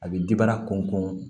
A bɛ kɔnkɔ